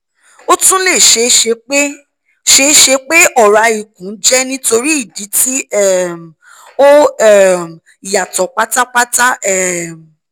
o tun le ṣee ṣe pe ṣee ṣe pe ọra ikun jẹ nitori idi ti um o um yatọ patapata um